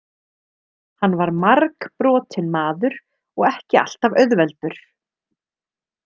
Hann var margbrotinn maður og ekki alltaf auðveldur.